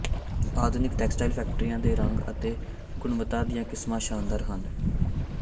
ਆਧੁਨਿਕ ਟੈਕਸਟਾਈਲ ਫੈਕਟਰੀਆਂ ਦੇ ਰੰਗ ਅਤੇ ਗੁਣਵੱਤਾ ਦੀਆਂ ਕਿਸਮਾਂ ਸ਼ਾਨਦਾਰ ਹਨ